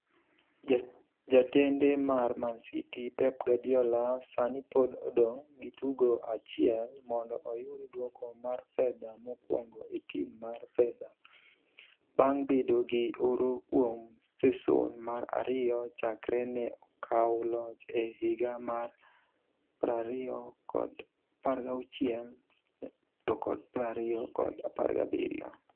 Jatende mar Man City, Pep Guardiola, sani pod odong' gi tugo achiel mondo oyud duoko mar fedha mokwongo e tim mar fedha, bang' bedo gi oro kuom seson mar ariyo chakre ne okawo loch e higa mar 2016-17.